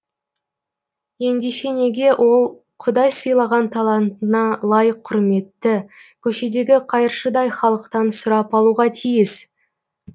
ендеше неге ол құдай сыйлаған талантына лайық құрметті көшедегі қайыршыдай халықтан сұрап алуға тиіс